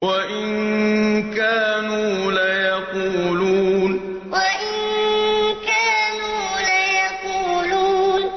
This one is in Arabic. وَإِن كَانُوا لَيَقُولُونَ وَإِن كَانُوا لَيَقُولُونَ